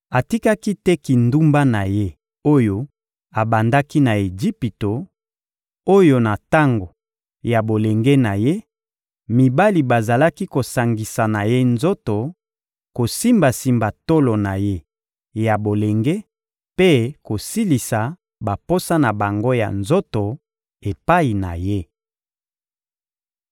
Atikaki te kindumba na ye oyo abandaki na Ejipito, oyo na tango ya bolenge na ye, mibali bazalaki kosangisa na ye nzoto, kosimbasimba tolo na ye ya bolenge mpe kosilisa baposa na bango ya nzoto epai na ye.